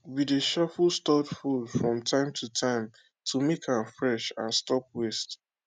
we dey shuffle stored food from time to time to make am fresh and stop waste